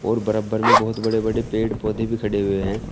और बराबर में बहुत बड़े बड़े पेड़ पौधे भी खड़े हुए हैं।